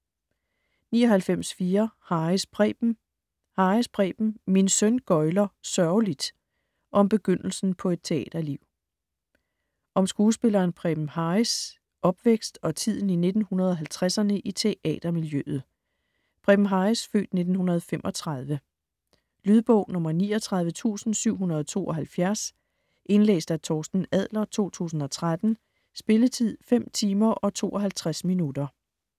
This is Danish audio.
99.4 Harris, Preben Harris, Preben: Min søn gøgler - sørgeligt!: om begyndelsen på et teaterliv Om skuespilleren Preben Harris' (f. 1935) opvækst og tiden i 1950'erne i teatermiljøet. Lydbog 39772 Indlæst af Torsten Adler, 2013. Spilletid: 5 timer, 52 minutter.